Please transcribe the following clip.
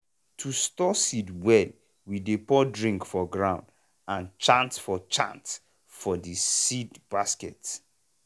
to store seed well we dey pour drink for ground and chant for chant for the seed basket.